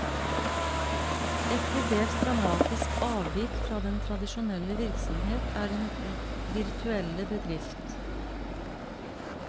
Et til dels dramatisk avvik fra den tradisjonelle virksomhet er den virtuelle bedrift.